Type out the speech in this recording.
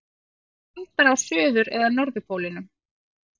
Hvort er kaldara á suður- eða norðurpólnum?